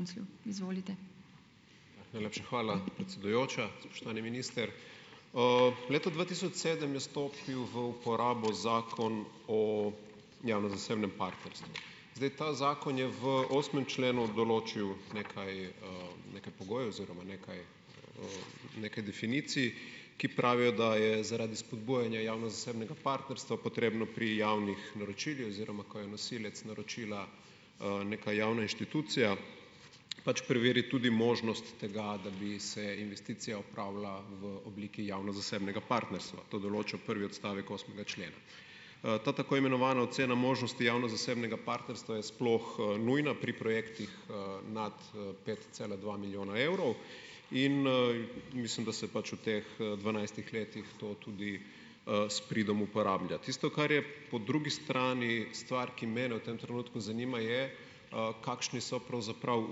Najlepša hvala, predsedujoča, spoštovani minister. leta dva tisoč sedem je stopil v uporabo Zakon o javno-zasebnem partnerstvu. Zdaj, ta zakon je v osmem členu določil nekaj, nekaj pogojev oziroma nekaj, nekaj definicij, ki pravijo, da je zaradi spodbujanja javno-zasebnega partnerstva potrebno pri javnih naročilih, oziroma ko je nosilec naročila, neka javna inštitucija, pač preveriti tudi možnost tega, da bi se investicija opravlja v obliki javno-zasebnega partnerstva, to določa prvi odstavek osmega člena. ta tako imenovana "ocena možnosti javno-zasebnega partnerstva" je sploh, nujna pri projektih, nad, pet cela dva milijona evrov in, mislim, da se pač v teh, dvanajstih letih to tudi, s pridom uporablja. Tisto, kar je po drugi strani stvar, ki mene v tem trenutku zanima, je, kakšni so pravzaprav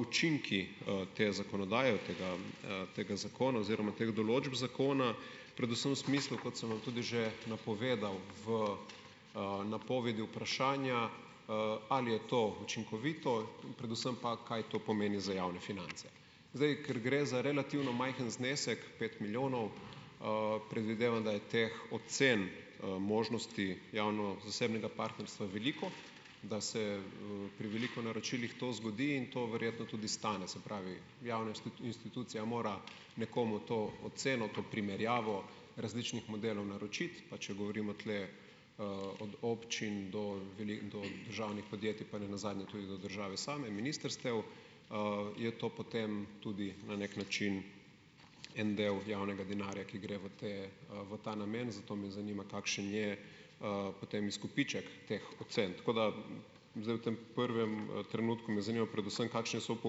učinki, te zakonodaje, tega, tega zakona oziroma teh določb zakona. Predvsem v smislu, kot sem vam tudi že napovedal v, napovedi vprašanja, ali je to učinkovito. Predvsem pa, kaj to pomeni za javne finance? Zdaj, ker gre za relativno majhen znesek - pet milijonov - predvidevam, da je teh ocen, možnosti javno-zasebnega partnerstva veliko, da se, pri veliko naročilih to zgodi. In to verjetno tudi stane. Se pravi, javna institucija mora nekomu to oceno, to primerjavo različnih modelov naročiti, pa če govorimo tule, od občin do do državnih podjetij, pa nenazadnje tudi do države same, ministrstev, je to potem tudi na neki način en del javnega denarja, ki gre v te, v ta namen. Zato me zanima, kakšen je, potem izkupiček teh ocen. Tako da zdaj v tem prvem, trenutku me zanima predvsem, kakšni so v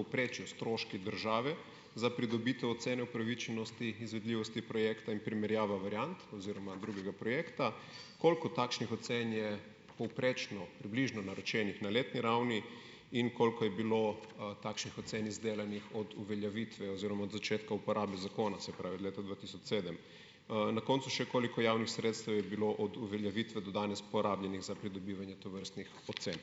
povprečju stroški države za pridobitev ocene upravičenosti izvedljivosti projekta in primerjava variant oziroma drugega projekta. Koliko takšnih ocen je povprečno približno naročenih na letni ravni? In koliko je bilo, takšnih ocen izdelanih od uveljavitve oziroma od začetka uporabe zakona? Se pravi, od leta dva tisoč sedem. Na koncu še, koliko javnih sredstev je bilo od uveljavitve do danes porabljenih za pridobivanje tovrstnih ocen?